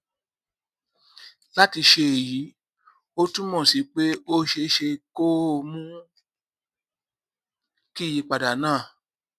láti ṣe èyí ó túmọ sí pé ó ṣeé ṣe kó o mú kí ìyípadà náà